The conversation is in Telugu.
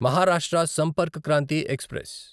మహారాష్ట్ర సంపర్క్ క్రాంతి ఎక్స్ప్రెస్